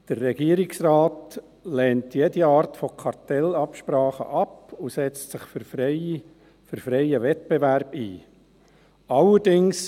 Der Regierungsrat lehnt jede Art von Kartellabsprachen ab und setzt sich für freien Wettbewerb ein.